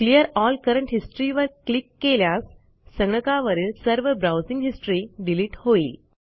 clear all current history वर click केल्यास संगणकावरील सर्व ब्राऊजिंग हिस्ट्री डिलिट होईल